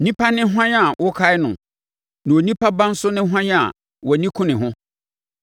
onipa ne hwan a wokae no, na onipa ba nso ne hwan a wʼani ku ne ho?